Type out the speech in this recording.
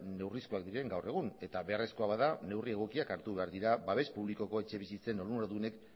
neurrizkoak diren gaur egun eta beharrezkoa bada neurriak egokiak hartu behar dira babes publikoko etxebizitzen onuradunek